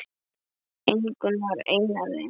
Ingunn var ein af þeim.